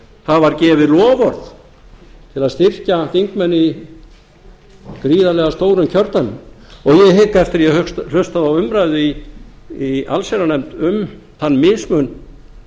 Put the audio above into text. það var gefið loforð til að styrkja þingmenn í gríðarlega stórum kjördæmum og ég hygg eftir að ég hlustaði á umræðu í allsherjarnefnd um þann mismun